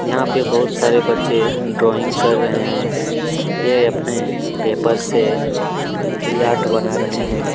यहाँ पर बहुत सारे बच्चे ड्राइंग कर रहै हैं ये अपने पेपर से यार्ट बना रहै हैं।